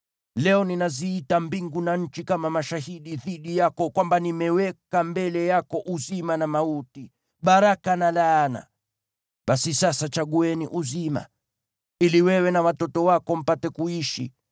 Leo ninaziita mbingu na nchi kama mashahidi dhidi yako kwamba nimeweka mbele yako uzima na mauti, baraka na laana. Basi sasa chagueni uzima, ili wewe na watoto wako mpate kuishi,